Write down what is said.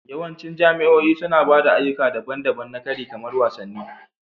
Yawancin jami'o'i suna ba da ayyuka daban-daban na kari kamar wasanni